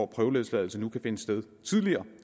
prøveløsladelse nu kan finde sted tidligere